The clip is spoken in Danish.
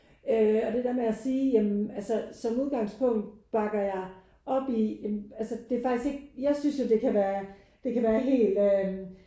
Øh og det der med at sige ja men altså som udgangspunkt bakker jeg op i altså det er ikke jeg synes det kan være det kan være helt øh